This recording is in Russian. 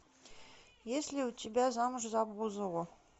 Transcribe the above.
есть ли у тебя замуж за бузову